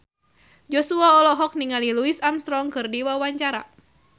Joshua olohok ningali Louis Armstrong keur diwawancara